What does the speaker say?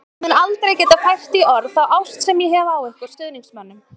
Ég mun aldrei geta fært í orð þá ást sem ég hef á ykkur stuðningsmönnum.